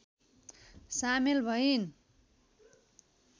सामेल भइन्